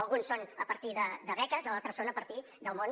alguns són a partir de beques altres són a partir del món